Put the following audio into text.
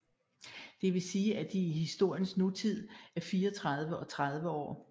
Det vil sige at de i historiens nutid er 34 og 30 år